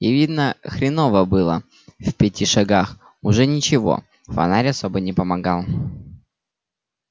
и видно хреново было в пяти шагах уже ничего фонарь особо не помогал